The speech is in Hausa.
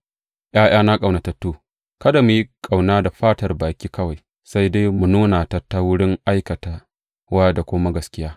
’Ya’yana ƙaunatattu, kada mu yi ƙauna da fatar baki kawai, sai dai mu nuna ta ta wurin aikatawa da kuma gaskiya.